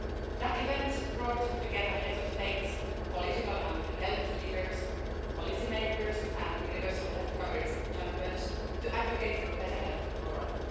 That event brought together heads of states, political and health leaders, policy makers and universal health coverage champions, to advocate for better health for all.